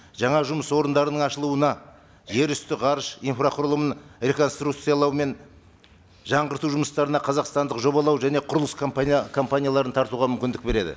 жаңа жұмыс орындарының ашылуына жер үсті ғарыш инфрақұрылымын реконструкциялау мен жаңғырту жұмыстарына қазақстандық жобалау және құрылыс компания компанияларын тартуға мүмкіндік береді